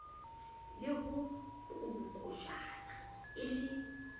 le ho kolokotjhana e le